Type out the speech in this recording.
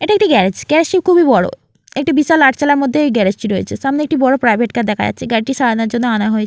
এটি একটি garage garage -টি খুবই বড় একটি বিশাল আটচালার মধ্যে এই গ্যারেজ -টি রয়েছে |সামনে একটি বড় প্রাইভেট কার দেখা যাচ্ছে |গ্যারেজ -টি সারানোর জন্য আনা হয়ে--